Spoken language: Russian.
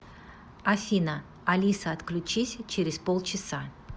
афина алиса отключись через полчаса